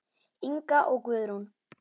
Inga og Guðrún.